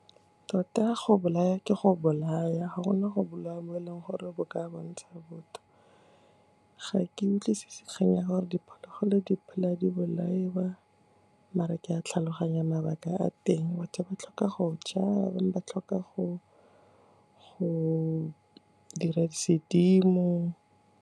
Tota go bolaya ke go bolaya, ga gona go bolaya mo e leng gore bo ka bontsha botho. Ga ke utlwisise kgang ya gore diphologolo di phela di bolaiwa mare ke a tlhaloganya mabaka a teng, batho ba tlhoka go ja, ba bangwe ba tlhoka go dira dira sedimo.